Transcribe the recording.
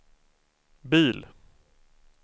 bil